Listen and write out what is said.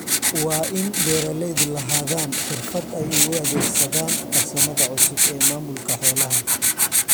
Waa in beeralaydu lahaadaan xirfad ay ugu adeegsadaan farsamada cusub ee maamulka xoolaha.